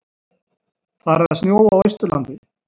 Farið að snjóa á Austurlandi